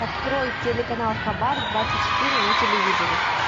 открой телеканал хабар двадцать четыре на телевизоре